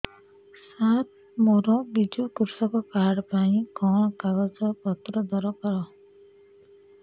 ସାର ମୋର ବିଜୁ କୃଷକ କାର୍ଡ ପାଇଁ କଣ କାଗଜ ପତ୍ର ଦରକାର